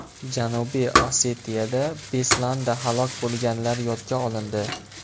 Janubiy Osetiyada Beslanda halok bo‘lganlar yodga olindi.